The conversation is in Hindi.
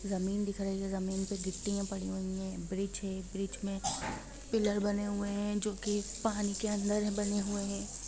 ज़मीन दिखाई दे रही हैज़मीन पे गिट्टियां पड़ी हुई है ब्रिज है ब्रिज में पीलर बने हुए है जो कि पानी के अंदर बने हुए है।